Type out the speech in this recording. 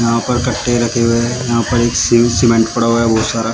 यहां पर कट्टे रखे हुए हैं यहां पर एक सिव सीमेंट पड़ा हुआ है बहुत सारा।